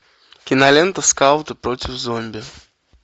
кинолента скауты против зомби